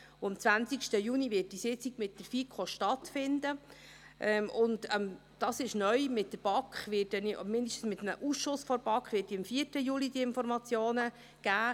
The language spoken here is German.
Neu ist übrigens, dass ich der BaK, oder zumindest einem Ausschuss der BaK, diese Informationen am 4. Juli geben werde.